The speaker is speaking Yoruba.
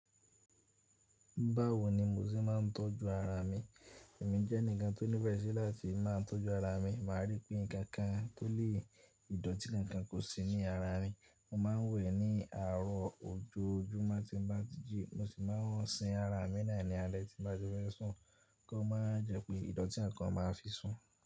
Báwo ni mo ṣe máa ń tọ́jú ara mi? Èmi jẹ́ ẹnìkan tó nífẹ̀ẹ́ sí láti máa ń tọ́jú ara mi, màá rí pé nǹkan kan tó le ìdọ̀tí kankan kò sí ní ara mi. Mo máa ń wẹ̀ ní àárọ̀ ojoojúmọ́ tí mo bá jí, mo sì máa ń sin ara mi ní alẹ́ tí n bá ti fe sún kí ó máa jẹ́ pé ìdọ̀tí kankan máa fi sún.